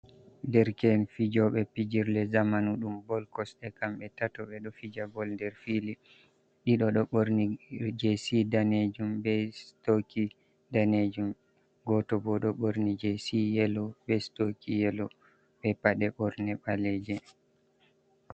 Derke’en fijoɓe pijirle zamanu ɗum bol kosɗe, kamɓe tato ɓe ɗo fija bol nder fili, ɗido ɗo ɓorni je si danejum be stoki danejum, goto bo ɗo ɓorni jc yelo be stoki yelo be paɗe ɓorne ɓaleje.